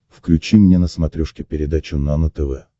включи мне на смотрешке передачу нано тв